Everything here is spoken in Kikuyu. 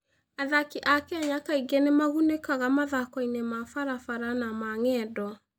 Athaki a Kenya kaingĩ nĩ magunĩkaga mathaako-inĩ ma barabara na ma ng'endo.